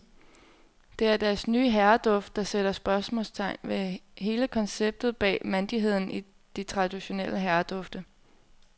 Det er deres nye herreduft, der sætter spørgsmålstegn ved hele konceptet bag mandigheden i de traditionelle herredufte.